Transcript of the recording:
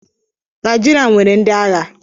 Naijiria nwere ndi agha